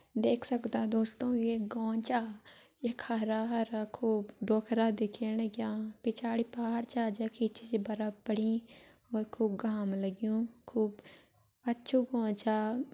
देख सक्दा दोस्तों ये एक गौं चा यख हरा हरा खूब डोखरा दिखेण लग्यां पिछाड़ी पहाड़ छा जखि बर्फ पड़ीं और खूब घाम लग्युं खूब अच्छु गौं छा।